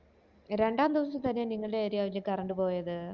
രണ്ടാം ദിവസം തന്നെ നിങ്ങടെ area ല് കറണ്ട് പോയത്